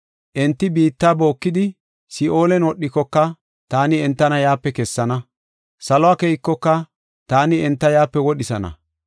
Enti biitta bookidi, Si7oolen wodhikoka, taani entana yaape kessana. Saluwa keykoka, taani enta yaape wodhisana.